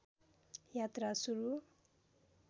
यात्रा सुरु